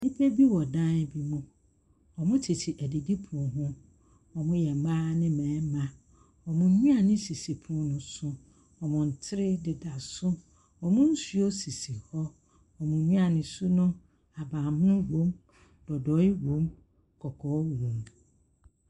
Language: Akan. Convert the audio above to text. Nnipa bi wɔ dan bi mu. Wɔtete adidipono ho. Wɔyɛ mmaa ne mmarima. Wɔn nnuane sisi pono no so, na wɔn ntere deda so. Wɔn nsuo sisi hɔ. Wɔn nnuane su no, ahaban mono wom dodoe wom, kɔkɔɔ wom.